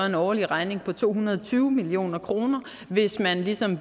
en årlig regning på to hundrede og tyve million kr hvis man ligesom